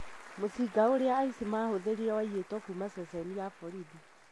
Mũcinga ũrĩa aici mahũthĩrire waiyĩtwo kuma ceeni ya borithi